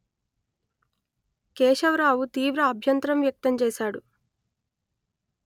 కేశవరావు తీవ్ర అభ్యంతరం వ్యక్తం చేశాడు